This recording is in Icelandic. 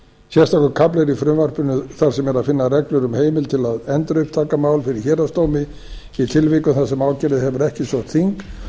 kafli er í frumvarpinu þar sem er að finna reglur um heimild til að endurupptaka mál fyrir héraðsdómi í tilvikum þar sem ákærði hefur ekki sótt þing